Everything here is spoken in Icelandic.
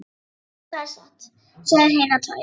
Jú, það er satt, sögðu hinar tvær.